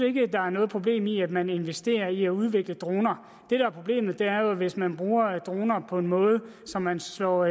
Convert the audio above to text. ikke der er noget problem i at man investerer i at udvikle droner det der er problemet er jo hvis man bruger droner på en måde så man slår